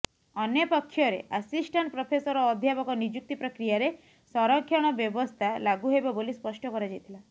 ଅନ୍ୟପକ୍ଷରେ assistant professor ଓ ଅଧ୍ୟାପକ ନିଯୁକ୍ତି ପ୍ରକ୍ରିୟାରେ ସରକ୍ଷଣ ବ୍ୟବସ୍ଥା ଲାଗୁ ହେବ ବୋଲି ସ୍ପଷ୍ଟ କରାଯାଇଥିଲା